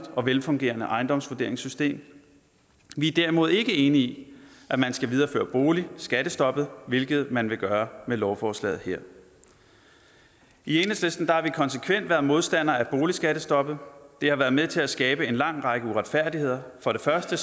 og velfungerende ejendomsvurderingssystem vi er derimod ikke enige i at man skal videreføre boligskattestoppet hvilket man gør med lovforslaget i enhedslisten har vi konsekvent været modstandere af boligskattestoppet det har været med til at skabe en lang række uretfærdigheder for det første